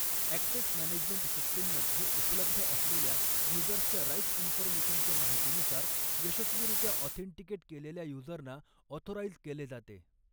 Access management सिस्टिममध्ये उपलब्ध असलेल्या युजर्सच्या राईट्स इन्फॉर्मेशनच्या माहितीनुसार यशस्वीरित्या ऑथेन्टिकेट कॆलेल्या युजरना ऑथोराइज केले जाते.